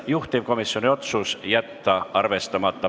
Juhtivkomisjoni otsus: jätta arvestamata.